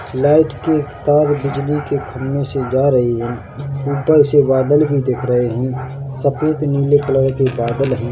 Light के तार बिजली के खंभे से जा रही है ऊपर से बादल भी दिख रहे हैं सफेद नीले कलर के बादल है।